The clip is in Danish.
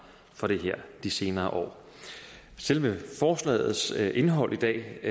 for det her de senere år selve forslagets indhold i dag